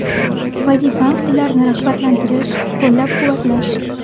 Vazifam ularni rag‘batlantirish, qo‘llab-quvvatlash.